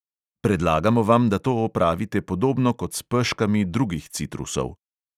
Predlagamo vam, da to opravite podobno kot s peškami drugih citrusov.